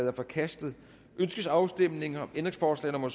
er forkastet ønskes afstemning om ændringsforslag nummer